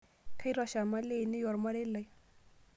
Kaitosha mali ainei ormarei lai.